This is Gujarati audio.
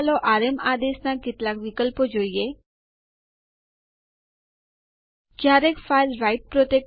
ચાલો Enter દબાવીએ અને જોઈએ કે શું થાય છે